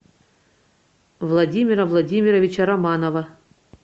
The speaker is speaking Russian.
владимира владимировича романова